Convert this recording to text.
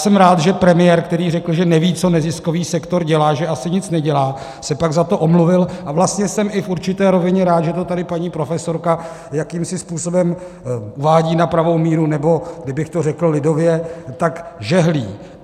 Jsem rád, že premiér, který řekl, že neví, co neziskový sektor dělá, že asi nic nedělá, se pak za to omluvil, a vlastně jsem i v určité rovině rád, že to tady paní profesorka jakýmsi způsobem uvádí na pravou míru, nebo kdybych to řekl lidově, tak žehlí.